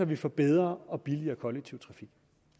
vi får bedre og billigere kollektiv trafik